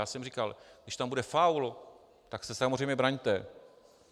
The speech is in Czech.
Já jsem říkal, když tam bude faul, tak se samozřejmě braňte.